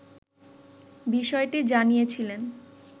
বিষয়টি জানিয়েছিলেন